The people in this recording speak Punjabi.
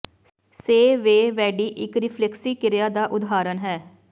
ਸੇ ਵੇ ਵੇਡਿ ਇੱਕ ਰਿਫਲਿਕਸੀ ਕਿਰਿਆ ਦਾ ਉਦਾਹਰਣ ਹੈ